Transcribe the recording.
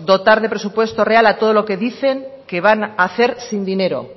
dotar de presupuesto real a todo lo que dicen que van a hacer sin dinero